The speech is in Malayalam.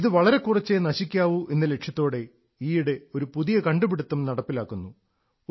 ഇത് വളരെ കുറച്ചേ നശിക്കാവൂ എന്ന ലക്ഷ്യത്തോടെ ഈയിടെ ഒരു പുതിയ കണ്ടുപിടുത്തം നടപ്പിലാക്കുന്നു